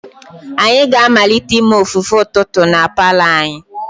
Anyị ga-amalite ime ofufe ụtụtụ na palour anyi.